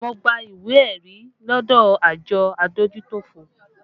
Mo gba ìwé ẹ̀rí lọdọ àjọ adójútòfò